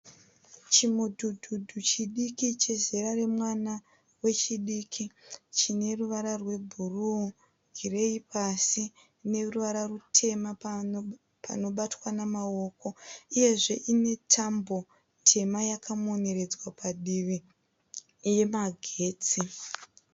Chimudhudhudhu chidiki chezera remwana wechidiki chineruvara rwebhuruu, gireyi pasi neruvara rutema panobatwa nemaoko uyezve unetambo tema yakamoneredzwa padivi yemagetsi.